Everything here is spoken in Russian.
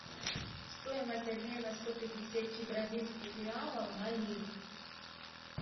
стоимость обмена сто пятьдесят бразильских реалов на ливр